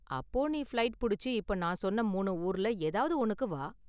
அப்போ நீ ஃப்ளைட் புடிச்சு இப்ப நான் சொன்ன மூணு ஊர்ல ஏதாவது ஒன்னுக்கு வா.